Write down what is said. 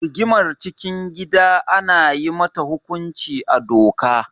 Rigimar cikin gida ana yi mata hukunci a doka.